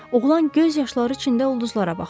Oğlan göz yaşları içində ulduzlara baxırdı.